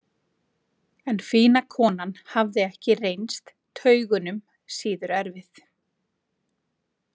En fína konan hafði ekki reynst taugunum síður erfið.